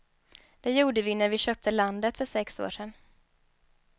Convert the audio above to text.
Det gjorde vi när vi köpte landet för sex år sedan.